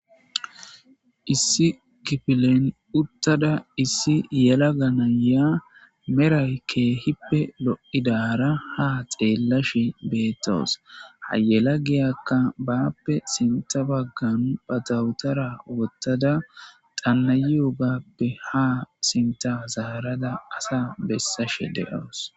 Issi kifilen uttada issi yela ganaya meray keehippe lo'idaara ha xeellashi beettoos hayela geyakka baappe sinta baggan batawutara wottada xannayo gappe ha sinta zaarada asa bessashe de'oos.